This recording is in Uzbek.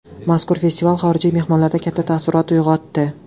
Mazkur festival xorijiy mehmonlarda katta taassurot uyg‘otdi.